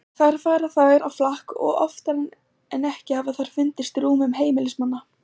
Þar fara þær á flakk og oftar en ekki hafa þær fundist í rúmum heimilismanna.